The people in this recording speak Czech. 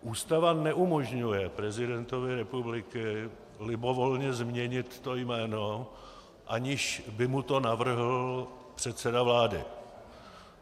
Ústava neumožňuje prezidentovi republiky libovolně změnit to jméno, aniž by mu to navrhl předseda vlády.